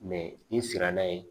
n'i sera n'a ye